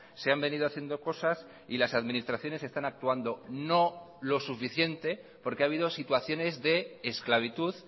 se han venido haciendo cosas y las administraciones están actuando no lo suficiente porque ha habido situaciones de esclavitud